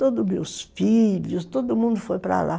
Todos meus filhos, todo mundo foi para lá.